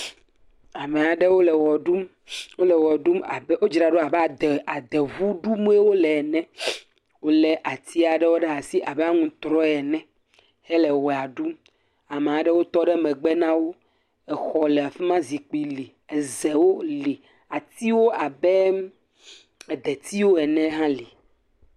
Me aɖewo le wɔ ɖum. Wole wɔ ɖum abe, wodzra ɖo abe ade, adeŋu ɖum wolee ne. Wolé ati aɖewo ɖe asi abe aŋutrɔ ene hele wɔea ɖum. Ame aɖewo tɔ ɖe megbe na wo. Exɔ le afi ma, zikpi li, Ezewo li. Atiwo abe edeiwo ene hã li.